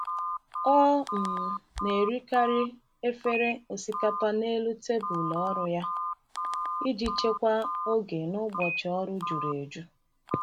Ọ um na-erikarị efere osikapa n’elu tebụl ọrụ ya iji chekwaa oge n’ụbọchị ọrụ juru eju.